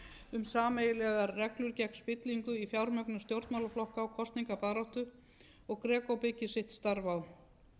um sameiginlegar reglur gegn spillingu í fjármögnun stjórnmálaflokka á kosningabaráttu og greco byggir sitt starf á